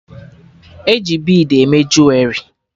E ji bid eme juwerị